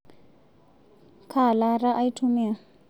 Kaa laata aitumia?